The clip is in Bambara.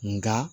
Nga